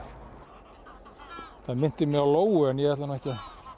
minnti mig á lóu en ég ætla nú ekki að